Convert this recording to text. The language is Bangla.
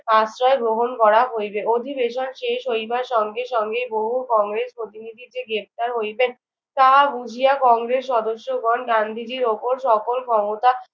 আশ্রয় গ্রহণ করা হইবে। অধিবেশন শেষ হইবার সঙ্গে সঙ্গে বহু কংগ্রেস প্রতিনিধি যে গ্রেফতার হইবেন তা বুঝিয়া কংগ্রেস সদস্যগণ গান্ধীজির ওপর সকল ক্ষমতা